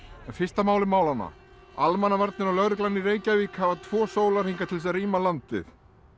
en fyrst að máli málanna almannavarnir og lögreglan í Reykjavík hafa tvo sólarhringa til þess að rýma landið